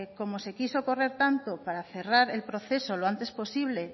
como se quiso correr tanto para cerrar el proceso lo antes posible